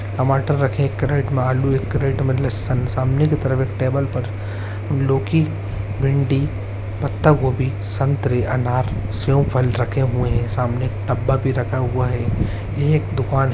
टमाटर रखे एक किरेट में आलू एक किरेट मे लस्सान सामने की तरफ एक टेबल पर लोकि भिन्डी पत्ता-गोबी संतरे अनार सेयुं फल रखे हुए हैं सामने डब्बा भी रखा हुआ है ये एक दुकान --